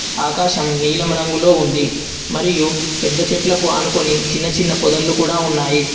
ఆకాశం నీలం రంగులో ఉంది. మరియు పెద్ద చెట్లకు ఆనుకొని చిన్న చిన్న పొదలు కూడా ఉన్నాయి.